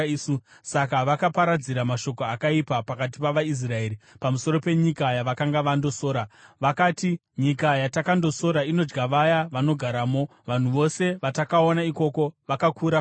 Saka vakaparadzira mashoko akaipa pakati pavaIsraeri pamusoro penyika yavakanga vandosora. Vakati, “Nyika yatakandosora inodya vaya vanogaramo. Vanhu vose vatakaona ikoko vakakura kwazvo.